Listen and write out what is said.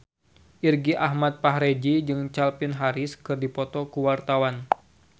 Irgi Ahmad Fahrezi jeung Calvin Harris keur dipoto ku wartawan